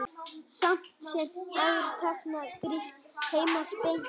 Samt sem áður dafnaði grísk heimspeki enn.